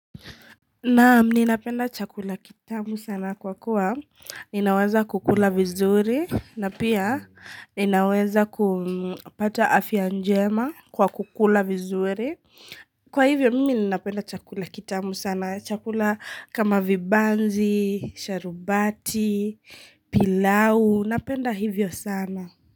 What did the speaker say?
Na nini napenda chakula kitamu sana kwa kuwa ninaweza kukula vizuri na pia ninaweza kupata afia njema kwa kukula vizuri. Kwa hivi nini napenda chakula kitamu sana. Chakula kama vibanzi, sharubati, pilau. Napenda hivyo sana.